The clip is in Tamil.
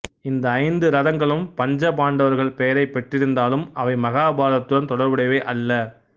இந்த ஐந்து இரதங்களும் பஞ்சபாண்டவர்கள் பெயரைப் பெற்றிருந்தாலும் அவை மகாபாரதத்துடன் தொடர்புடையவை அல்ல